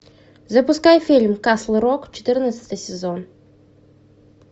запускай фильм касл рок четырнадцатый сезон